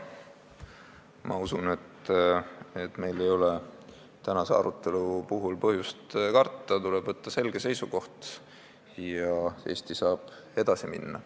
Ma usun, et meil ei ole tänase arutelu puhul põhjust karta – tuleb võtta selge seisukoht ja Eesti saab edasi minna.